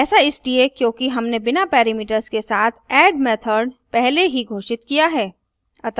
ऐसा इसलिए क्योंकि हमने बिना parameters के साथ add method पहले ही घोषित किया है